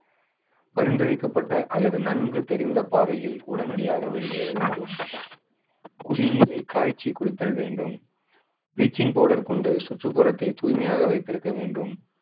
பரிந்துரைக்கப்பட்ட அல்லது நன்கு தெரிந்த பாதையில் உடனடியாக வெளியேற வேண்டும். குடிநீரை காய்ச்சி குடித்தல் வேண்டும். bleaching powder கொண்டு சுற்றுப்புறத்தை தூய்மையாக வைத்திருக்க வேண்டும்.